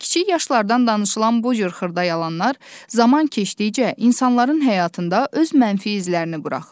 Kiçik yaşlardan danışılan bu cür xırda yalanlar zaman keçdikcə insanların həyatında öz mənfi izlərini buraxır.